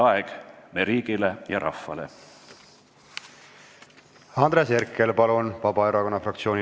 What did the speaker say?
Andres Herkel Vabaerakonna fraktsiooni nimel, palun!